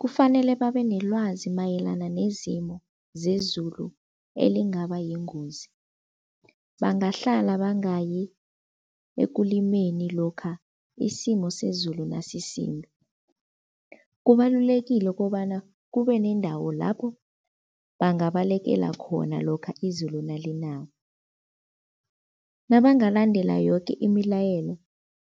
Kufanele babe nelwazi mayelana nezimo zezulu elingaba yingozi. Bangahlala bangayi ekulimeni lokha isimo sezulu nasisimbi. Kubalulekile kobana kube nendawo lapho bangabalekela khona lokha izulu nalinako. Nabangalandela yoke imilayelo,